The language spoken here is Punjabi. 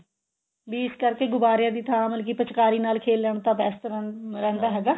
ਵੀ ਇਸ ਕਰਕੇ ਗੁਬਾਰਿਆਂ ਦੀ ਥਾਂ ਮਤਲਬ ਕੀ ਪਿਚਕਾਰੀ ਨਾਲ ਖੇਲਣ ਤਾਂ best ਰਹਿੰਦਾ ਰਹਿੰਦਾ ਹੈਗਾ